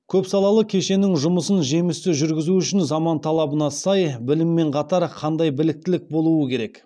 көпсалалы кешеннің жұмысын жемісті жүргізу үшін заман талабына сай білім мен қатар қандай біліктілік болуы керек